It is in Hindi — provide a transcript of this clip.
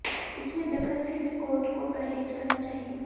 इसमें दखल से भी कोर्ट को परहेज करना चाहिए